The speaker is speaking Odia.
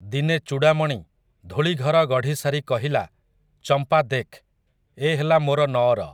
ଦିନେ ଚୂଡ଼ାମଣି, ଧୂଳିଘର ଗଢ଼ିସାରି କହିଲା, ଚମ୍ପା ଦେଖ୍, ଏ ହେଲା ମୋର ନଅର ।